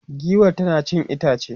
giwar tana cin itace